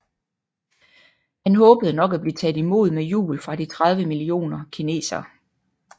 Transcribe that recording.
Han håbede nok at blive taget imod med jubel fra de 30 millioner kineserne